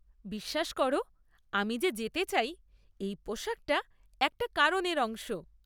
বিশ্বাস করো, আমি যে যেতে চাই, এই পোশাকটা একটা কারণের অংশ।